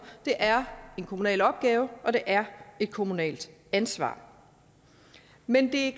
er en kommunal opgave og det er et kommunalt ansvar men det